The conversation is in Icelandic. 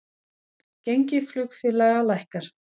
Gengi flugfélaga lækkar